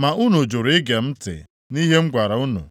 ma unu jụrụ ige ntị nʼihe m gwara unu.